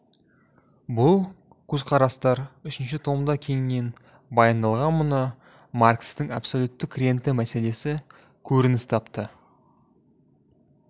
бұл көзқарастар үшінші томда кеңінен баяндалған мұнда маркстің абсолюттік рента мәселесі көрініс тапты